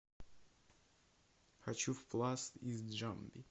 хочу в пласт из джамби